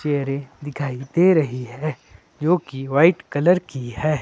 चेयरे दिखाई दे रही है जोकि वाइट कलर की है।